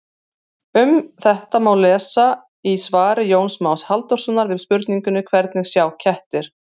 Um þetta má lesa í svari Jóns Más Halldórssonar við spurningunni Hvernig sjá kettir?